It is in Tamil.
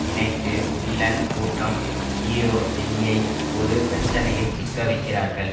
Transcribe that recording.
நினைத்து வில்லன் கூட்டம் ஹீரோ ஜெய்யை ஒரு பிரச்சனையில் சிக்க வைக்கிறார்கள்